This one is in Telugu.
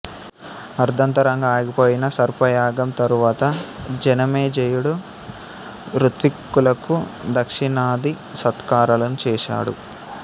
అర్ధాంతరంగా ఆగిపోయిన సర్పయాగం తరువాత జనమేజయుడు ఋత్విక్కులకు దక్షిణాది సత్కారాలను చేసాడు